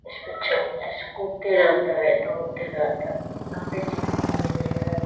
इसके चलते स्फूर्ति रहता है दौड़ते रहता है। यहाँ पे जिम भी है।